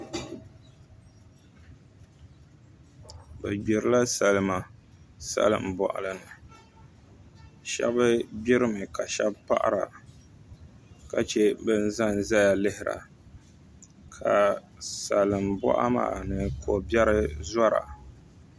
Bi gbirila salima salin boɣali ni shab gbirimi ka shab paɣara ka chɛ bin ʒɛnʒɛya lihira ka salin boɣa maa ni kobiɛri zora